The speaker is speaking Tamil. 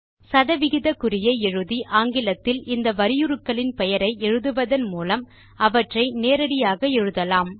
சதவிகித குறியை எழுதி ஆங்கிலத்தில் இந்த வரியுருக்களின் பெயரை எழுதுவதன் மூலம் அவற்றை நேரடியாக எழுதலாம்